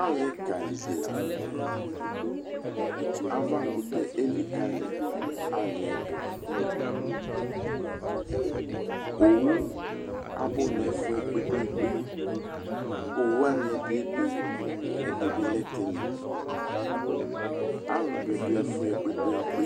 ale ka li di lantɛ ava kutɛ elikale ali yɛ do owu abo no ɛfuɛ kpekpekpe owu wani ɛdi ebe ɛdi bi lɛ tinya alo bi do ɛfuɛ kpekpekpe